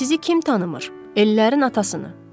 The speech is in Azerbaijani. Sizi kim tanımır, ellərin atasını.